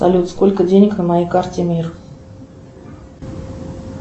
салют сколько денег на моей карте мир